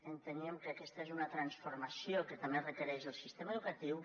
enteníem que aquesta és una transformació que també requereix el sistema educatiu